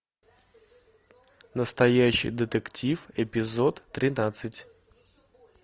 настоящий детектив эпизод тринадцать